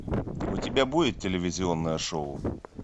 у тебя будет телевизионное шоу